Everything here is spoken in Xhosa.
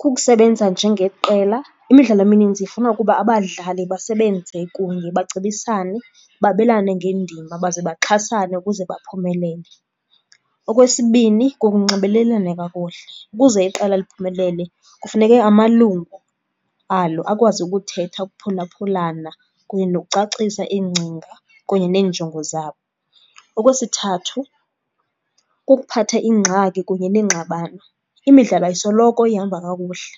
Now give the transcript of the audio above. Kukusebenza njengeqela, imidlalo emininzi ifuna ukuba abadlali basebenze kunye bacebisane, babelane ngeendima baze baxhasane ukuze baphumelele. Okwesibini, kukunxibelelana kakuhle. Ukuze iqela liphumelele kufuneke amalungu alo akwazi ukuthetha, ukuphulaphulana kunye nokucacisa iingcinga kunye neenjongo zabo. Okwesithathu, kukuphatha iingxaki kunye neengxabano. Imidlalo ayisoloko ihamba kakuhle,